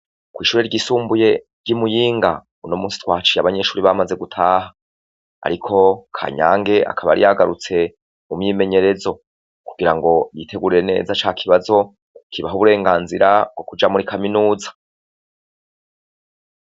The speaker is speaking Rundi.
Kw'ishuri ryisumbuye ry'imuyinga uyumusi twahaciye abanyeshure bamaze gutaha ariko Kanyange akaba yari yagarutse mumyimenyerezo kugirango yitegurire neza cakibazo kibaha uburenganzira bwo kuja muri kaminuza.